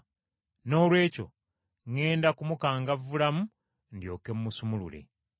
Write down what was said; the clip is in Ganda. Noolwekyo ŋŋenda mukangavvulamu, ndyoke mmusumulule.”